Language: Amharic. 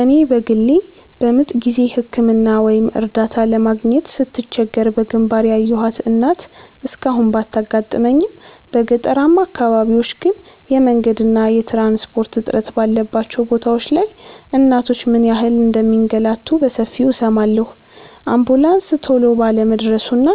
እኔ በግሌ በምጥ ጊዜ ሕክምና ወይም እርዳታ ለማግኘት ስትቸገር በግንባር ያየኋት እናት እስካሁን ባታጋጥመኝም፣ በገጠራማ አካባቢዎች ግን የመንገድና የትራንስፖርት እጥረት ባለባቸው ቦታዎች ላይ እናቶች ምን ያህል እንደሚንገላቱ በሰፊው እሰማለሁ። አምቡላንስ ቶሎ ባለመድረሱና